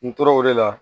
N tora o de la